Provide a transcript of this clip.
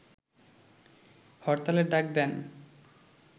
হরতালের ডাক দেন